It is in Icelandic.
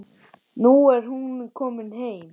Nú er hún komin heim.